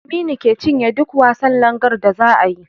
Aminu ke cinye duk wasan langar da zaa yi